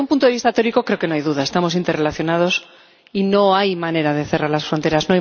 Desde un punto de vista teórico, creo que no hay duda estamos interrelacionados y no hay manera de cerrar las fronteras